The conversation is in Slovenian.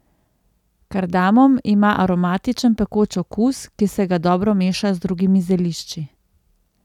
Kardamom ima aromatičen pekoč okus, ki se ga dobro meša z drugimi zelišči.